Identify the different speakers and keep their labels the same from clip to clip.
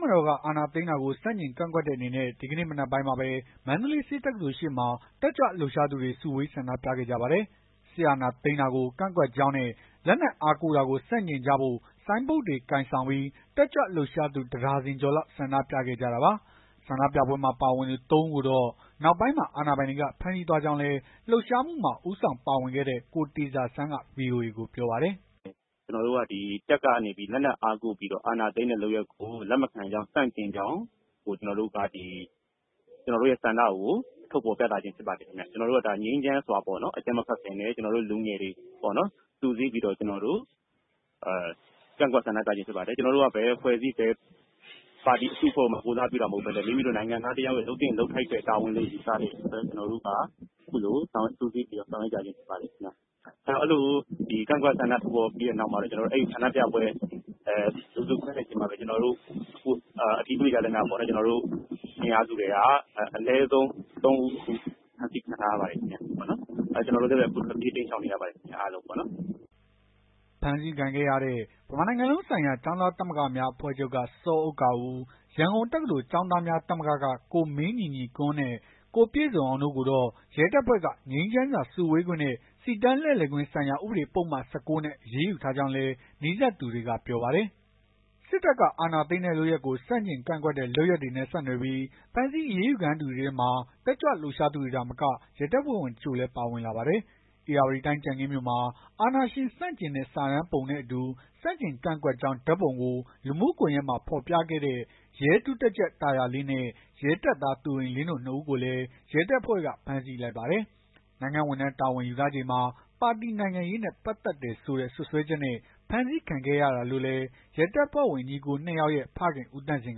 Speaker 1: မတော်က အာဏာသိမ်းတာကို ဆန့်ကျင်ကန့်ကွက်တဲ့အနေနဲ့ ဒီကနေ့ မနက်ပိုင်းမှာပဲ မန္တလေး ဆေးတက္ကသိုလ်ရှေ့မှာ တက်ကြွလှုပ်ရှားသူတွေ စုဝေးဆန္ဒပြခဲ့ကြပါတယ်။ စစ်အာဏာသိမ်းတာကို ကန့်ကွက်ကြောင်းနဲ့ လက်နက်အားကိုးတာကို ဆန့်ကျင်ကြဖို့ ဆိုင်းဘုတ်တွေ ကိုင်ဆောင်ပြီး တက်ကြွလှုပ်ရှားသူ ၁ ဒါဇင်ကျော်လောက် ဆန္ဒပြခဲ့ကြတာပါ။ ဆန္ဒပြပွဲမှာ ပါဝင်သူ သုံး ဦးကိုတော့ နောက်ပိုင်းမှာ အာဏာပိုင်တွေက ဖမ်းဆီးသွားကြောင်းလည်း လှုပ်ရှားမှုမှာ ဦးဆောင်ပါဝင်ခဲ့တဲ့တဲ့ ကိုတေဇာဆန်းက ဗွီအိုအေကို ပြောပါတယ်။
Speaker 2: “ကျနော်တို့က တပ်ကနေပြီး လက်နက်အားကိုး အာဏာသိမ်းတဲ့လုပ်ရပ်ကို လက်မခံကြောင်း ဆန့်ကျင်ကြောင်း ကျနော်တို့ ဆန္ဒကို ထုတ်ဖော်ခြင်းဖြစ်ပါတယ်။ ကျနော်တို့က ငြိမ်းချမ်းစွာ အကြမ်းမဖက်ဘဲ ကျနော်တို့လူငယ်တွေ စုစည်းပြီး ကန့်ကွက်ဆန္ဒပြခြင်း ဖြစ်ပါတယ်။ ကျနော်တို့ ဘယ်အဖွဲ့အစည်း ဘယ်ပါတီကိုမှ ကိုယ်စားပြုတာ မဟုတ်ဘဲနဲ့ နိုင်ငံသားတယောက်ရဲ့ လုပ်သင့် လုပ်ထိုက်တဲ့ တာဝန်နဲ့ ဝတ္တရားကို ဆောင်ရွက်ရခြင်းဖြစ်ပါတယ်။ အဲ့ဒီလို ကန့်ကွက် ဆန္ဒထုတ်ဖော်ပြီးတဲ့နောက်မှာတော့ ဆန္ဒပြပွဲ လူစုခွဲတဲ့နောက်မှာပဲ အတည်ပြုလို့ရသလောက်ပေါ့။ ကျနော်တို့ အင်အားစုထဲက အနည်းဆုံး ၃ ဦးကို ဖမ်းဆီးခံထားရပါတယ်ခင်ဗျ။ ကျနော်တို့လည်း ထွက်ပြေးတိမ်းရှောင်နေရပါတယ်ခင်ဗျ။”
Speaker 1: ဖမ်းဆီးခံခဲ့ရတဲ့ ဗမာနိုင်ငံလုံးဆိုင်ရာကျောင်းသားသမဂ္ဂများအဖွဲ့ချုပ်က စောဥက္ကာဦး၊ ရန်ကုန်တက္ကသိုလ် ကျောင်းသားများသမဂ္ဂက ကိုမင်းညီညီကွန်းနဲ့ ကိုပြည့်စုံအောင် တို့ကိုတော့ ရဲတပ်ဖွဲ့က ငြိမ်းချမ်းစွာစုဝေးခွင့်နဲ့ စီတန်းလှည့်လည်ခွင့်ဆိုင်ရာ ဥပဒေပုဒ်မ ၁၉ နဲ့ အရေးယူထားကြောင်းလည်း နီးစပ်သူတွေက ပြောပါတယ်။ စစ်တပ်က အာဏာသိမ်းတဲ့ လုပ်ရပ်ကို ဆန့်ကျင်ကန့်ကွက်တဲ့ လုပ်ရပ်တွေနဲ့ ဆက်နွယ်ပြီး ဖမ်းဆီးအရေးယူခံရသူတွေထဲမှာ တက်ကြွလှုပ်ရှားသူတွေသာမက ရဲတပ်ဖွဲ့ဝင် တချို့လည်း ပါဝင်လာပါတယ်။ ဧရာဝတီတိုင်း ကြံခင်းမြို့မှာ အာဏာရှင်ဆန့်ကျင်တဲ့ စာတမ်းပါပုံနဲ့ အတူ ဆန့်ကျင်ကန့်ကွက်ကြောင်း ဓာတ်ပုံကို လူမှုကွန်ယက်မှာ ဖော်ပြခဲ့တဲ့ ရဲဒုတပ်ကြပ်တာရာလင်းနဲ့ ရဲတပ်သား သူရိန်လင်း တို့ ၂ ဦးကိုလည်း ရဲတပ်ဖွဲ့က ဖမ်းဆီးလိုက်ပါတယ်။ နိုင်ငံဝန်ထမ်း တာဝန်ယူထားချိန်မှာ ပါတီနိုင်ငံရေးနဲ့ ပတ်သက်တယ်ဆိုတဲ့ စွပ်စွဲချက်နဲ့ ဖမ်းဆီးခံခဲ့ရတာလို့လည်း ရဲတပ်ဖွဲ့ဝင် ညီအကို ၂ ယောက်ရဲ့ ဖခင် ဦးသန့်စင်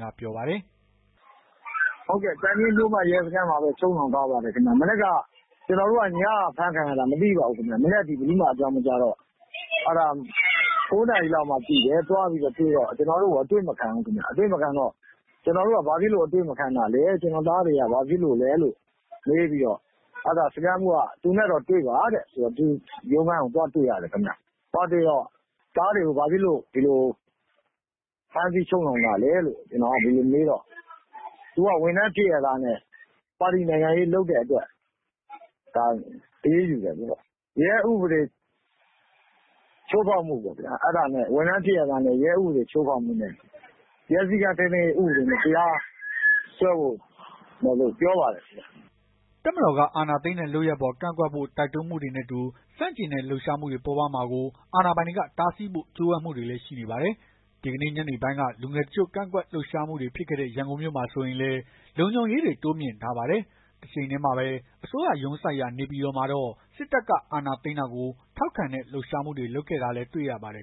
Speaker 1: ကပြောပါတယ်။
Speaker 3: “ကြံခင်းမြို့မ ရဲစခန်းမှာ ချုပ်ထားပါတယ်။ ညက ဖမ်းတာပါ။ မနက်ထိ မသိပါဘူး ဘယ်သူမှအကြောင်း မကြားပါဘူး။ ၉ နာရီလောက်မှ သိတယ်။ သိတော့သွားတွေ့တော့ ကျနော်တို့ကို အတွေ့မခံဘူး။ ဘာလို့အတွေ့မခံတာလည်း ကျနော့် သားတွေက ဘာလို့အဖမ်းခံလည်းမေးတော့ အဲ့ဒီတော့ စခန်းမှူးက သူနဲ့တော့တွေ့ပါဆိုပြီး သူ့ရုံးခန်း သွားတွေ့ရတယ်ခင်ဗျ။ တွေ့တော့ သားတွေကို ဘာလို့ ဖမ်းဆီးချုပ်နှောင်တာလည်း ဒီလိုမေးတော့ သူဝန်ထမ်းဖြစ်ရဲ့သားနဲ့ ပါတီနိုင်ငံရေးတွေလုပ်တဲ့အတွက် ဒါအရေးယူတယ်ပေါ့။ ရဲဥပဒေချိုးဖောက်မှု ဝန်ထမ်းဖြစ်ရဲ့သားနဲ့ ရဲဥပဒေချိုးဖောက်မှုနဲ့ ရဲစည်းကမ်း ထိန်းသိမ်းရေးနဲ့ တရားစွဲမယ်ပြောပါတယ်။
Speaker 1: ” တပ်မတော်က အာဏာသိမ်းတဲ့ လုပ်ရပ်အပေါ် ကန့်ကွက်ဖို့ တိုက်တွန်းမှုတွေနဲ့အတူ ဆန့်ကျင်တဲ့လှုပ်ရှားမှုတွေ ပေါ်ပေါက်မှာကို အာဏာပိုင်တွေ တားဆီးဖို့ ကြိုးပမ်းမှုတွေလည်း ရှိနေပါတယ်။ ဒီနေ့ ညနေပိုင်းက လူငယ်တချို့ ကန့်ကွက်လှုပ်ရှားမှုတွေ ဖြစ်ခဲ့တဲ့ ရန်ကုန်မြို့မှာ ဆိုရင်လည်း လုံခြုံရေးတွေ တိုးမြှင့်ထားပါတယ်။ တချိန်တည်းမှာပဲ အစိုးရရုံးစိုက်ရာ နေပြည်တော်မှာတော့ စစ်တပ်က အာဏာသိမ်းတာကို ထောက်ခံတဲ့ လှုပ်ရှားမှုတွေလုပ်ခဲ့တာလည်း တွေ့ရပါတယ်။